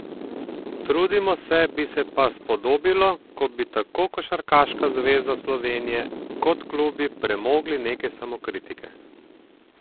Trudimo se, bi se pa spodobilo, ko bi tako Košarkarska zveza Slovenije kot klubi premogli nekaj samokritike.